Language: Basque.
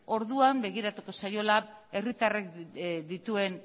orduan begiratuko zaiola herritarrek dituen